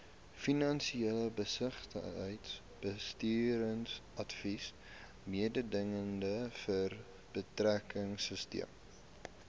finansies besigheidsbestuursadvies mededingendheidsverbeteringsteun